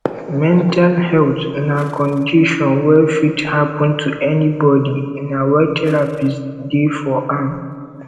mental health na condision wey fit hapun to anybodi na why therapist dey for am